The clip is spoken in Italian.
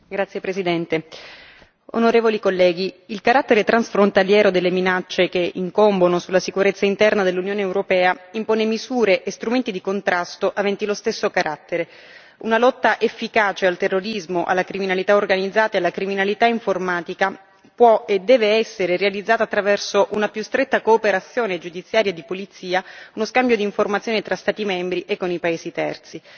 Signor Presidente, onorevoli colleghi, il carattere transfrontaliero delle minacce che incombono sulla sicurezza interna dell'Unione Europea impone misure e strumenti di contrasto aventi lo stesso carattere una lotta efficace al terrorismo, alla criminalità organizzata e la criminalità informatica può e deve essere realizzato attraverso una più stretta cooperazione giudiziaria e di polizia, lo scambio di informazioni tra Stati membri e con i paesi terzi.